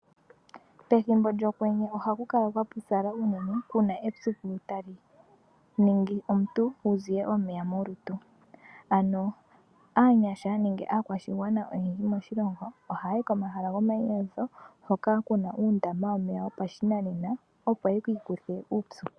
Pethimbo lyokwenye ohakukala kwapopyala uunene kuna epyuku tali omuntu wuziye omeya molutu, ano aanyasha nenge aakwashigwana oyendji moshilongo